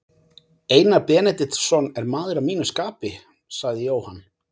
Einar Benediktsson er maður að mínu skapi, sagði Jóhann.